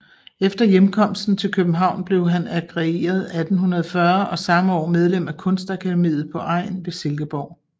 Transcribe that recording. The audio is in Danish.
Efter hjemkomsten til København blev han agreeret 1840 og samme år medlem af Kunstakademiet på Egn ved Silkeborg